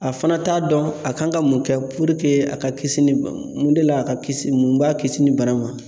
A fana t'a dɔn a kan ka mun kɛ puruke a ka kisi ni mun de ye a ka kisi mun b'a kisi ni bana in ma